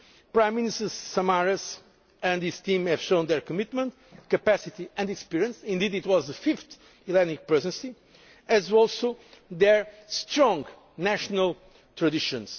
difficult times. Prime Minister Samaras and his team have demonstrated their commitment, capacity and experience indeed, it was the fifth Hellenic Presidency as well as their strong